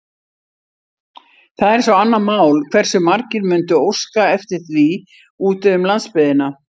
Það er svo annað mál, hversu margir mundu óska eftir því úti um landsbyggðina.